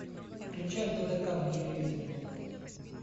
включай тдк на телевизоре